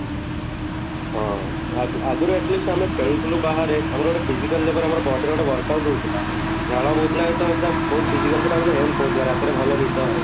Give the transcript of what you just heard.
ହଁ, ଆଗ ଆଗରୁ at least ଆମେ ଖେଳୁଥିଲୁ ବାହାରେ ଆମର ଗୋଟେ physical level ଆମର body ରେ ଗୋଟେ workout ହଉଥିଲା, ଝାଳ ବହୁଥିଲା ଯତେ ବେଳେ ସେଇଟା ବହୁତ physically ସେଇଟା ଆମକୁ help ହଉଥିଲା ରାତିରେ ଭଲ ନିଦ ହୁଏ